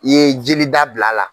I ye jeli da bila a la.